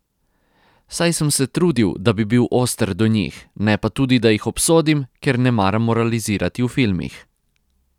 Saj sem se trudil, da bi bil oster do njih, ne pa tudi, da jih obsodim, ker ne maram moralizirati v filmih.